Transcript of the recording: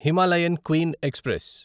Himalayan Queen express